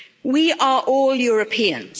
We are all Europeans.